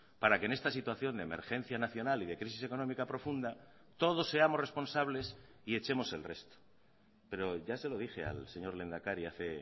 para que en esta situación de emergencia nacional y de crisis económica profunda todos seamos responsables y echemos el resto pero ya se lo dije al señor lehendakari hace